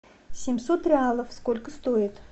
семьсот реалов сколько стоит